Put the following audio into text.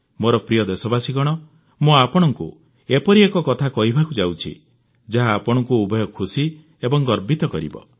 ମୋର ପ୍ରିୟ ଦେଶବାସୀଗଣ ମୁଁ ଆପଣଙ୍କୁ ଏପରି ଏକ କଥା କହିବାକୁ ଯାଉଛି ଯାହା ଆପଣଙ୍କୁ ଉଭୟ ଖୁସି ଏବଂ ଗର୍ବିତ କରିବ